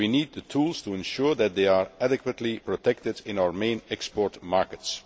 So we need the tools to ensure that they are adequately protected in our main export markets.